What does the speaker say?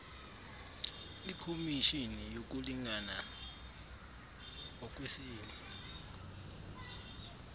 ikhomishini yokulingana ngokwesini